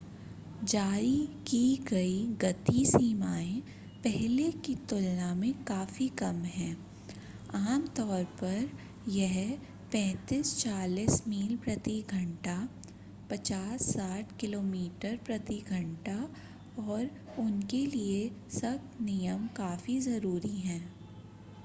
जारी की गयी गति सीमाएं पहले की तुलना में काफी कम है -आमतौर पर यह 35-40 मील प्रति घंटा56-60 किमी प्रति घंटा और उनके लिए सख्त नियम काफी जरूरी है